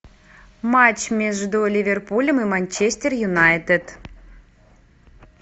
матч между ливерпулем и манчестер юнайтед